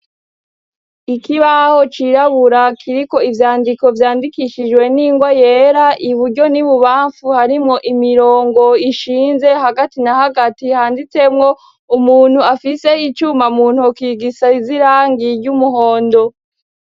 Ikibaho cirabura kiriko ivyandiko vyandikishijwe n'ingwa yera iburyo n'ibubamfu harimwo imirongo ishinze, hagati na hagati handitsemwo umuntu afise icuma muntoke gisiz'irangi ry'umuhondo.